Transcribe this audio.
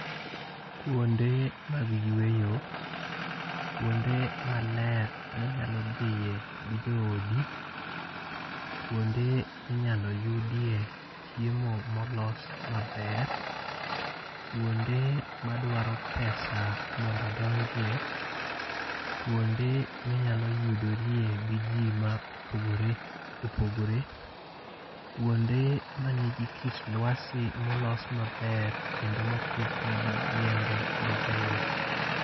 Kuonde mag yweyo. Kuonde maler minyalo dhiye gi joodi. Kuonde ma inyalo yudie chiemo ma olos maber. Kuonde madwaro pesa mondo odonjie. Kuonde minyalo yudorie gi ji ma opogore opogore. Kuonde manigi kit lwasi molos maber kendo ma opidh negi yiende mabeyo.